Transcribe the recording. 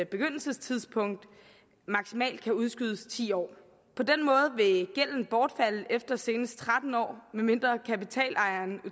begyndelsestidspunkt maksimalt kan udskydes i ti år på den måde vil gælden bortfalde efter senest tretten år medmindre kapitalejeren